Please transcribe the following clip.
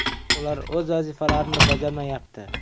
Ular o‘z vazifalarini bajarmayapti.